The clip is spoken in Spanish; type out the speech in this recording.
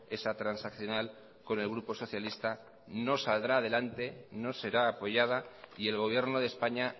esa transaccional con el grupo socialista no saldrá adelante no será apoyada y el gobierno de españa